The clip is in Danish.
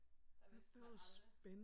Der vidste man aldrig